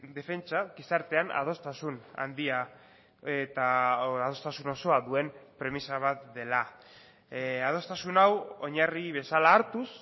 defentsa gizartean adostasun handia eta adostasun osoa duen premisa bat dela adostasuna hau oinarri bezala hartuz